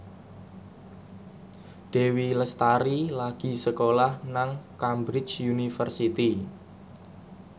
Dewi Lestari lagi sekolah nang Cambridge University